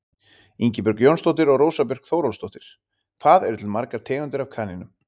Ingibjörg Jónsdóttir og Rósa Björk Þórólfsdóttir: Hvað eru til margar tegundir af kanínum?